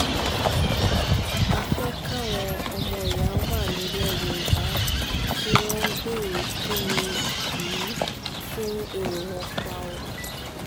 ẹgbẹ́ kan tí wọ́n pè ní yorùbá apprasa forum ló ṣagbátẹrù ìwọ́de ọ̀hún